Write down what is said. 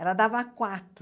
Ela dava quatro.